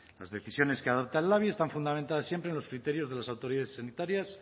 las decisiones que adopta el labi están fundamentadas siempre en los criterios de las autoridades sanitarias